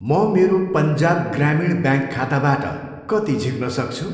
म मेरो पन्जाब ग्रामीण ब्याङ्क खाताबाट कति झिक्न सक्छु?